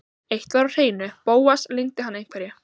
Eitt var á hreinu: Bóas leyndi hann einhverju.